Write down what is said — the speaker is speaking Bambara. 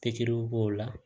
Pikiriw b'o la